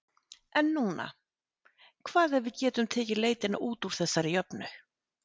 En núna, hvað ef við getum tekið leitina út úr þessari jöfnu?